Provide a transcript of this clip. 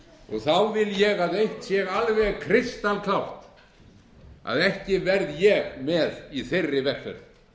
og þá vil ég að eitt sé alveg krystaltært að ekki verð ég með í þeirri vegferð hvað segir ríkisstjórnin